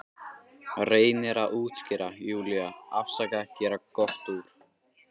Reynir að útskýra, Júlía, afsaka, gera gott úr.